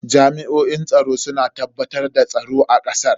Jami'oin tsaro suna tabbatar da tsaro a kasar.